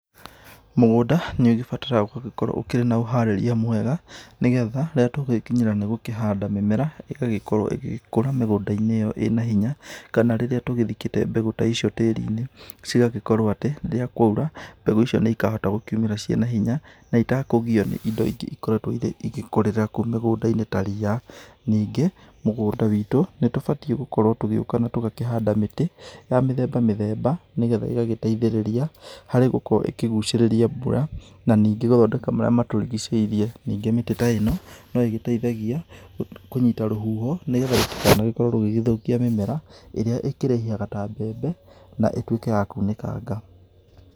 Mũgũnda nĩ ũgĩbataraga gũgĩkorwo ũkĩrĩ na ũharĩria mwega, nĩgetha rĩrĩa tũgũgĩkinyĩra nĩ gũkĩhanda mĩmera, ĩgagĩkorwo ĩgĩkũra mĩgũnda-inĩ ĩyo ĩna hinya. Kana rĩrĩa tũgĩthikĩte mbegũ ta icio tĩrĩ-inĩ cigagĩkorwo atĩ, rĩrĩa kwa ura mbegũ icio nĩ ikahota gũkĩumĩra ciĩna hinya, na ĩtakũ kũgĩo nĩ indo ingĩ irĩa ikoretwo igĩkũrĩrĩra kũu mĩgũnda-inĩ ta ria. Ningĩ, mũgũnda wĩtũ nĩ tũbatie gũkorwo tũgĩuka na tũgakĩhanda mĩtĩ ya mĩthemba mĩthemba, nĩgetha ĩgagĩteithĩrĩria harĩ gũkorwo ĩkĩgũcirĩria mbura, na ningĩ gũthondeka marĩa matũrĩgĩceirie. Ningĩ mĩtĩ ta ĩno no ĩgĩteithagia kũnyita rũhuho, nĩgetha rũtikanagĩkorwo rũgĩthũkia mĩmera ĩrĩa ĩkĩraihaga ta mbembe na ĩtũĩke ya kũnĩkanga.